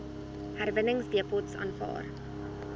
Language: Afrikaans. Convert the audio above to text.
herwinningsdepots aanvaar